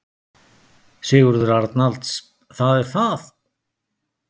Sigurður Arnalds: Það er það.